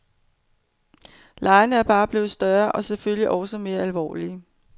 Legene er bare blevet større og selvfølgelig også mere alvorlige.